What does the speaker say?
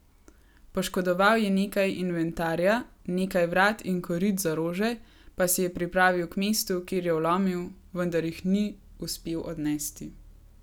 Poškodoval je nekaj inventarja, nekaj vrat in korit za rože pa si je pripravil k mestu, kjer je vlomil, vendar jih ni uspel odnesti.